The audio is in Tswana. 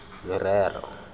merero